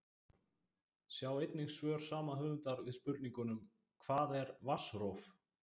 Sjá einnig svör sama höfundar við spurningunum: Hvað er vatnsrof?